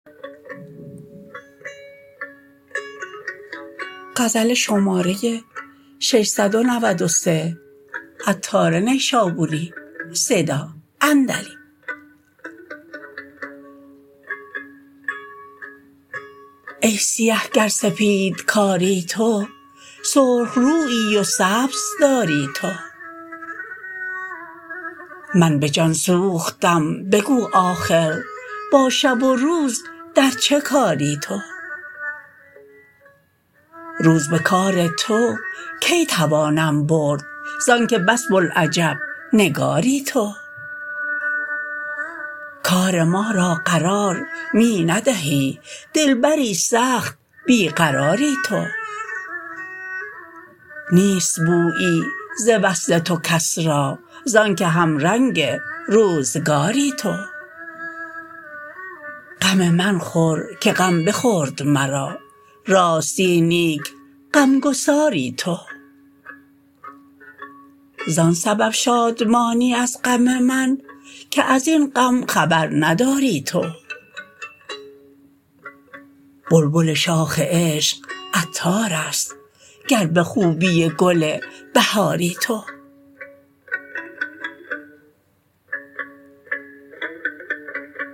ای سیه گر سپید کاری تو سرخ رویی و سبز داری تو من به جان سوختم بگو آخر با شب و روز در چه کاری تو روز به کار تو کی توانم برد زانکه بس بوالعجب نگاری تو کار ما را قرار می ندهی دلبری سخت بی قراری تو نیست بویی ز وصل تو کس را زانکه همرنگ روزگاری تو غم من خور که غم بخورد مرا راستی نیک غمگساری تو زان سبب شادمانی از غم من که ازین غم خبر نداری تو بلبل شاخ عشق عطار است گر به خوبی گل بهاری تو